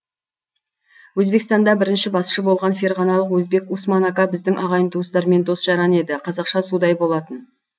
өзбекстанда бірінші басшы болған ферғаналық өзбек усман ака біздің ағайын туыстармен дос жаран еді қазақшаға судай болатын